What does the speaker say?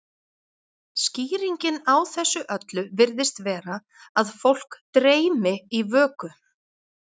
Skýringin á þessu öllu virðist vera að fólk dreymi í vöku.